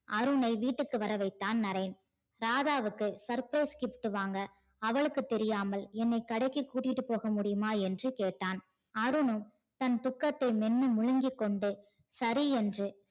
அருணை வீட்டிற்கு வர வைத்தான் நரேன் ராதாவுக்கு surprise gift வாங்க அவளுக்கு தெரியாமல் என்னை கடைக்கு கூட்டீட்டு போக முடியுமா என்று கேட்டான். அருணும் தன் துக்கத்தை மேன்னு முழுங்கி கொண்டு சரி என்று